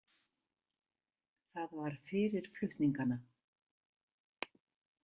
Það var fyrir flutningana.